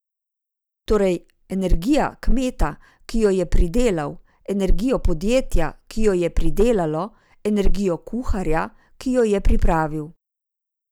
Torej, energijo kmeta, ki jo je pridelal, energijo podjetja, ki jo je predelalo, energijo kuharja, ki jo je pripravil ...